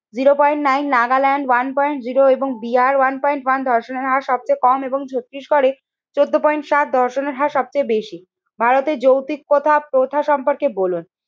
Zero point nine, Nagaland one point zero এবং Bihar one point one ধর্ষণের হার সবচেয়ে কম এবং ছত্রিশগড়ে চোদ্দ পয়েন্ট সাত ধর্ষণের হার সবচেয়ে বেশি। ভারতের যৌতিকতা প্রথা সম্পর্কে বলুন,